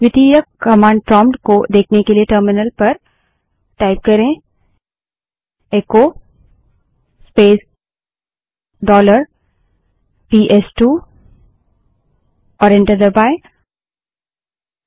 द्वितीयक command prompt को देखने के लिए टर्मिनल पर इको स्पेस डॉलर पीएसटूबड़े अक्षर में टाइप करें और एंटर दबायें